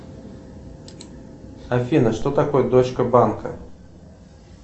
афина что такое дочка банка